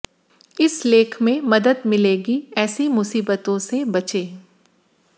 इस लेख में मदद मिलेगी ऐसी मुसीबतों से बचें